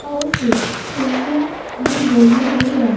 और कुछ कुर्सियां भी धरी हुई हैं।